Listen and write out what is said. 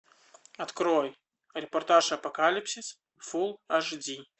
открой репортаж апокалипсис фул аш ди